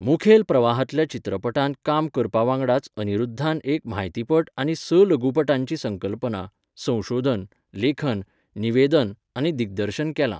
मुखेल प्रवाहांतल्या चित्रपटांत काम करपा वांगडाच अनिरुद्धान एक म्हायतीपट आनी स लघुपटांची संकल्पना, संशोधन, लेखन, निवेदन आनी दिग्दर्शन केलां.